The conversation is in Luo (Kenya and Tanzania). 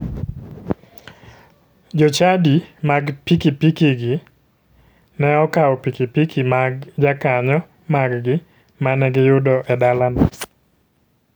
Jo chadi mag pikipikigi ne okawo pikipiki mag jokanyo maggi mane giyudo e dalano.